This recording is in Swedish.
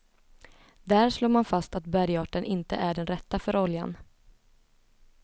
Där slår man fast att bergarten inte är den rätta för oljan.